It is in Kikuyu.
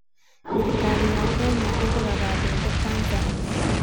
thirikari ya Kenya ĩgũraga mbembe Tanzanĩa